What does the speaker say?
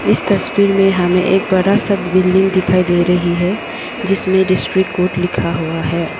इस तस्वीर में हमें एक बड़ा सा बिल्डिंग दिखाई दे रही है जिसमें डिस्ट्रिक कोर्ट लिखा हुआ है।